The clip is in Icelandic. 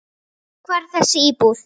Hvar er þessi íbúð?